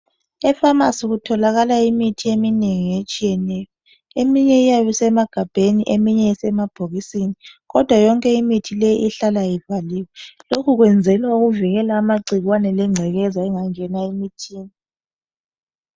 Efamasi kutholakala imithi eminengi etshiyeneyo. Eminye iyabe isemagabheni, eminye isemabhokisini, kodwa yonke imithi leyi ihlala ivaliwe. Lokhu kuyenzelwa ukuvikela amagcikwane lengcekeza engangena emithini.